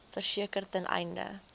verseker ten einde